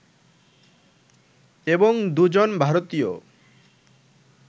এবং দুজন ভারতীয়